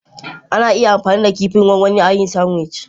Ana iya amfani da kifin gwangwani a yin sandwich.